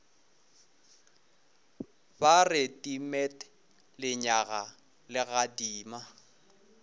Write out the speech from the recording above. ba re timet lenyaga legadima